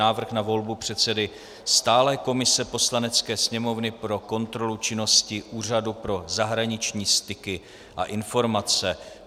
Návrh na volbu předsedy stálé komise Poslanecké sněmovny pro kontrolu činnosti Úřadu pro zahraniční styky a informace